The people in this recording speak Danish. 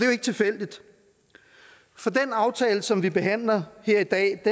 jo ikke tilfældigt for den aftale som vi behandler her i dag